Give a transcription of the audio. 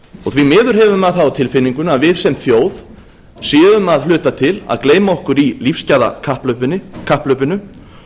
og því miður hefur maður það á tilfinningunni að við sem þjóð séum að hluta til að gleyma okkur í lífsgæðakapphlaupinu og